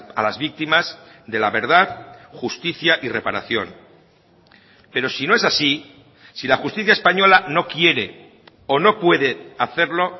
a las víctimas de la verdad justicia y reparación pero si no es así si la justicia española no quiere o no puede hacerlo